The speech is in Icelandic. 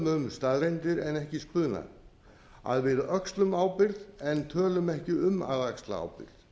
um staðreyndir en ekki spuna að við öxlum ábyrgð en tölum ekki um að axla ábyrgð það